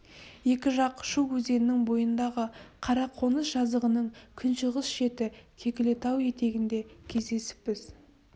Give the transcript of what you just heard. екі жақ шу өзенінің бойындағы қара қоныс жазығының күншығыс шеті кекілітау етегінде кездесіппіз